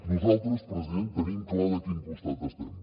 nosaltres president tenim clar de quin costat estem